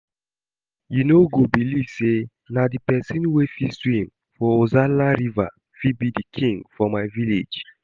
You no go believe say na the person wey fit swim for ozalla river fit be king for my village